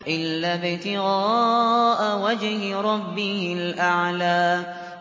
إِلَّا ابْتِغَاءَ وَجْهِ رَبِّهِ الْأَعْلَىٰ